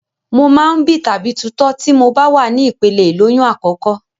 Mo máa ń bì tàbí tutọ́ tí mo bá wà ní ìpele ìlóyún àkọ́kọ́.